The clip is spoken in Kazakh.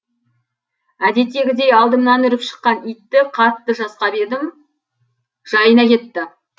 әдеттегідей алдымнан үріп шыққан итті қатты жасқап едім жайына кетті